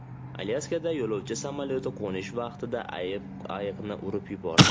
Alyaskada yo‘lovchi samolyoti qo‘nish vaqtida ayiqni urib yubordi.